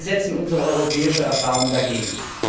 Wir setzen unsere europäische Erfahrung dagegen.